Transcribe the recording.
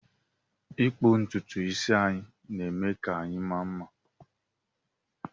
ịkpụ ntutu isi anyị na eme ka anyị maa mma